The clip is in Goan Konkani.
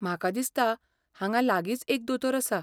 म्हाका दिसता, हांगा लागींच एक दोतोर आसा.